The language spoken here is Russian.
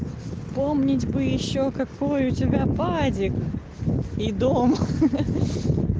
вспомнить бы ещё какой у тебя падик и дом ха-ха